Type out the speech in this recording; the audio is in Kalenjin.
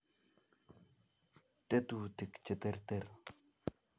tetutik cheterter